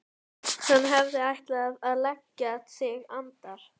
Hann hafði ætlað að leggja sig andar